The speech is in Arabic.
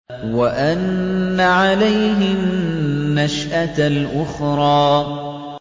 وَأَنَّ عَلَيْهِ النَّشْأَةَ الْأُخْرَىٰ